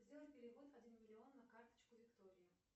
сделай перевод один миллион на карточку виктории